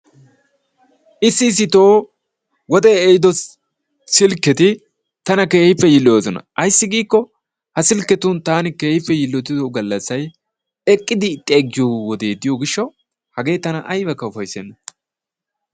Issi issito wodee ehiido silkketi tana keehippe yilloyoosona, ayssi giikko ha silkketun taani keehippe yiillottiddo gallassay eqqidi xeeggiyo wodee diyo gishshawu hagee taana aybakka ufayssenna.